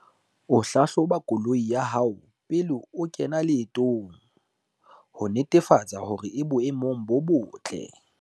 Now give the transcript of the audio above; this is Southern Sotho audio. O hlahloba koloi ya hao pele o kena leetong, ho netefatsa hore e boemong bo botle.